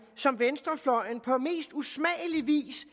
som venstrefløjen på mest usmagelig vis